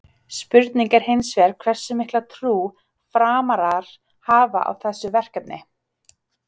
Spurning er hins vegar hversu mikla trú Framarar hafa á þessu verkefni?